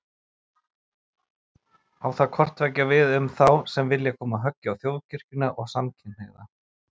Á það hvort tveggja við um þá sem vilja koma höggi á Þjóðkirkjuna og samkynhneigða.